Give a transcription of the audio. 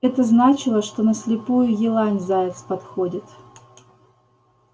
это значило что на слепую елань заяц подходит